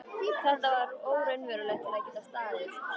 Þetta var of óraunverulegt til að geta staðist.